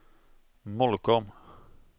Molkom